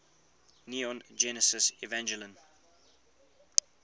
neon genesis evangelion